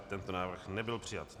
Tento návrh nebyl přijat.